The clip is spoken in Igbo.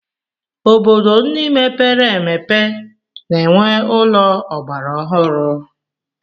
Obodo ndị mepere emepe na-enwe ụlọ ọgbara ọhụrụ.